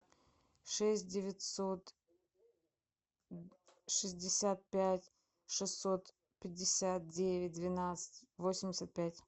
шесть девятьсот шестьдесят пять шестьсот пятьдесят девять двенадцать восемьдесят пять